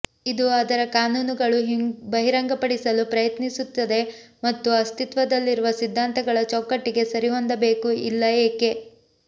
ಇದು ಅದರ ಕಾನೂನುಗಳು ಬಹಿರಂಗಪಡಿಸಲು ಪ್ರಯತ್ನಿಸುತ್ತದೆ ಮತ್ತು ಅಸ್ತಿತ್ವದಲ್ಲಿರುವ ಸಿದ್ಧಾಂತಗಳ ಚೌಕಟ್ಟಿಗೆ ಸರಿಹೊಂದಬೇಕು ಇಲ್ಲ ಏಕೆ